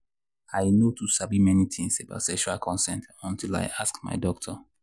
i i no too sabi many things about sexual consent until i ask my doctor.